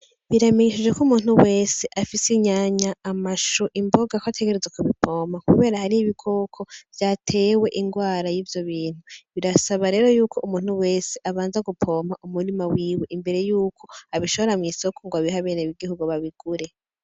Biramenyesheje k'umuntu wese afise inyanya, amashu, imboga ko ategerezwa kubivoma kubera hariho udukoko bwateye ingwara y'ivyo bintu birasaba rero yuko umuntu wese abanza kuvomera umurima wiwe imbere yuko abishora mw'isoko ngo abihe abenegihugu babigure.